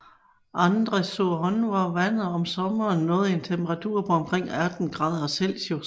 Andre sur Orne hvor vandet om sommeren når en temperatur på omkring 18 grader Celsius